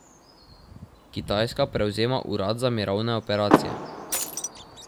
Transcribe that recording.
Kitajska prevzema urad za mirovne operacije.